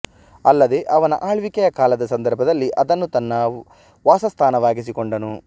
ಅಲ್ಲದೇ ಅವನ ಅಳ್ವಿಕೆಯ ಕಾಲದ ಸಂದರ್ಭದಲ್ಲಿ ಅದನ್ನು ತನ್ನ ವಾಸಸ್ಥಾನವಾಗಿಸಿಕೊಂಡನು